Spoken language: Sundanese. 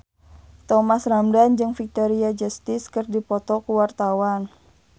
Thomas Ramdhan jeung Victoria Justice keur dipoto ku wartawan